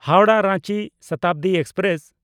Howrah Ranchi Shatabdi express